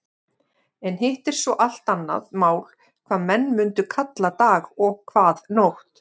En hitt er svo allt annað mál hvað menn mundu kalla dag og hvað nótt.